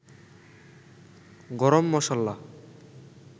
গরম মসল্লা